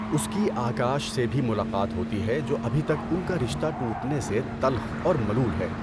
اس کی آکاش سے بھی ملاقات ہوتی ہے جو ابھی تک ان کا رشتہ ٹوٹنے سے تلخ اور ملول ہے۔